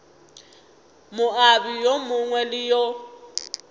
moabi yo mongwe le yo